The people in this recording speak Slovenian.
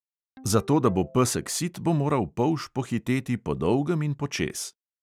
Zato, da bo pesek sit, bo moral polž pohiteti podolgem in počez.